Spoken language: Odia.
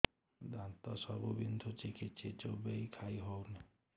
ଦାନ୍ତ ସବୁ ବିନ୍ଧୁଛି କିଛି ଚୋବେଇ ଖାଇ ହଉନି